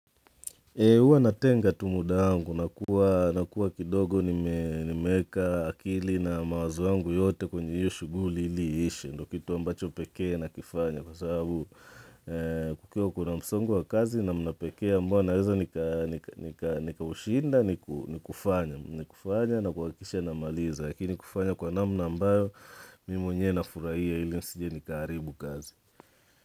Huwa natenga tu muda wangu, na kuwa kidogo nimeweka akili na mawazo yangu yote kwenye hiyo shuguli ili ishe, ndio kitu ambacho pekee nakifanya kwa sababu kukiwa kuna msongo wa kazi namna pekee ambao naweza nikaushinda ni kufanya na kuhakikisha namaliza, lakini kufanya kwa namna ambayo mimi mwenyewe nafurahia ili nisije nikaharibu kazi.